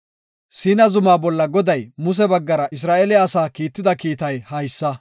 Siina zuma bolla Goday Muse baggara Isra7eele asaa kiitida kiitay haysa.